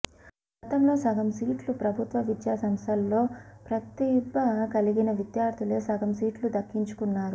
గతంలో సగం సీట్లు ప్రభుత్వ విద్యా సంస్థల్లో ప్రతిభ కలిగిన విద్యార్థులే సగం సీట్లు దక్కించుకున్నారు